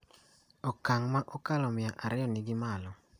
Okang' ma okalo mia ariyo ni malo